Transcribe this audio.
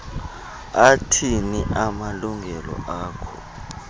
athini amalungelo akho